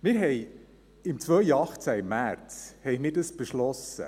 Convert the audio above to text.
Wir haben dies im Jahr 2018, im März, beschlossen.